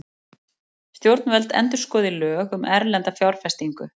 Stjórnvöld endurskoði lög um erlenda fjárfestingu